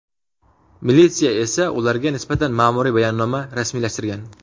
Militsiya esa ularga nisbatan ma’muriy bayonnoma rasmiylashtirgan .